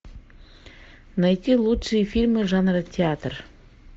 найти лучшие фильмы жанра театр